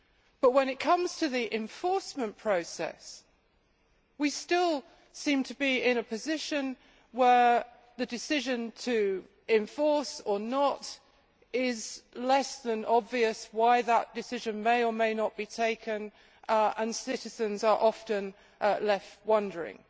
But when it comes to the enforcement process, we still seem to be in a position where the decision to enforce or not is less than obvious why that decision may or may not be taken and citizens are often left wondering.